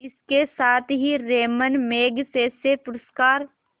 इसके साथ ही रैमन मैग्सेसे पुरस्कार